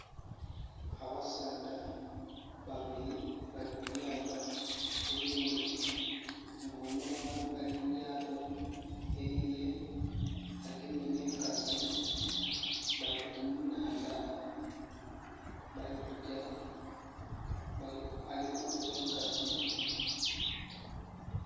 Abasaadha babiri bali mulyaato. Erindhi nga omulala ali mulyaato elirye agemye ne nkasi bali kunaandha balikujja . Ali kukkuba enkasi